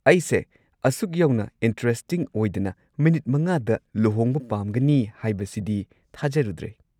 ꯑꯩꯁꯦ ꯑꯁꯨꯛ ꯌꯧꯅ ꯏꯟꯇ꯭ꯔꯦꯁꯇꯤꯡ ꯑꯣꯏꯗꯅ ꯃꯤꯅꯤꯠ ꯵ꯗ ꯂꯨꯍꯣꯡꯕ ꯄꯥꯝꯒꯅꯤ ꯍꯥꯏꯕꯁꯤꯗꯤ ꯊꯥꯖꯔꯨꯗ꯭ꯔꯦ꯫